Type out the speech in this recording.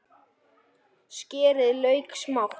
Skerið lauk smátt.